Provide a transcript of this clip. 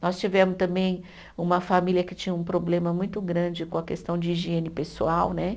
Nós tivemos também uma família que tinha um problema muito grande com a questão de higiene pessoal, né?